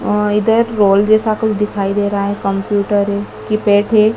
और इधर रोल जैसा कुछ दिखाई दे रहा है कंप्यूटर है कीपैड है।